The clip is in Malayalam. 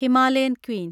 Himalayan Queen